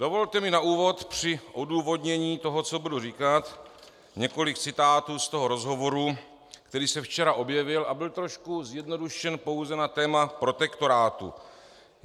Dovolte mi na úvod při odůvodnění toho, co budu říkat, několik citátů z toho rozhovoru, který se včera objevil a byl trochu zjednodušen pouze na téma protektorátu.